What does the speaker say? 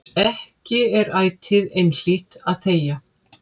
Ekki er ætíð einhlítt að þegja.